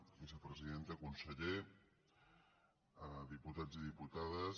vicepresidenta conseller diputats i diputades